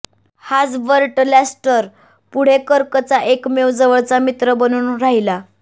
हाच Burt Lancaster पुढे कर्कचा एकमेव जवळचा मित्र बनून राहिला